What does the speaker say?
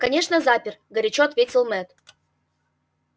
конечно запер горячо ответил мэтт